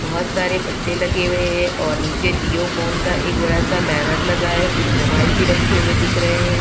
बोहोत सारे पर्चे लगे वे ए और नीचे जिओ फोन का एक बड़ा सा बैनर लगा है। कुछ मोबाइल भी रखे हुए दिख रहे हैं।